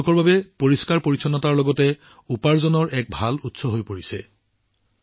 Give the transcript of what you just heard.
এইটো পৰিষ্কাৰ পৰিচ্ছন্নতা নিশ্চিত কৰাৰ লগতে তেওঁলোকৰ বাবে উপাৰ্জনৰ এক ভাল উৎস হৈ পৰিছে